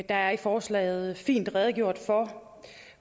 er i forslaget fint redegjort for